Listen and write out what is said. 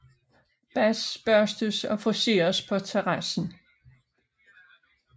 Bas børstes og friseres på terrassen